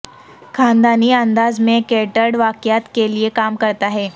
خاندانی انداز میں کیٹرڈ واقعات کے لئے کام کرتا ہے